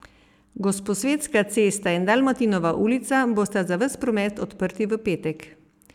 Gosposvetska cesta in Dalmatinova ulica bosta za ves promet odprti v petek.